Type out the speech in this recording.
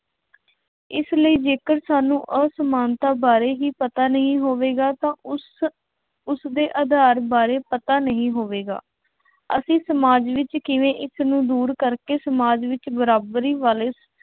ਇਸ ਲਈ ਜੇਕਰ ਸਾਨੂੰ ਅਸਮਾਨਤਾ ਬਾਰੇ ਹੀ ਪਤਾ ਨਹੀਂ ਹੋਵੇਗਾ ਤਾਂ ਉਸ ਉਸਦੇ ਆਧਾਰ ਬਾਰੇ ਪਤਾ ਨਹੀਂ ਹੋਵੇਗਾ। ਅਸੀਂ ਸਮਾਜ ਵਿੱਚ ਕਿਵੇਂ ਇੱਕ ਨੂੰ ਦੂਰ ਕਰਕੇ ਸਮਾਜ ਵਿੱਚ ਬਰਾਬਰੀ ਵਾਲੇ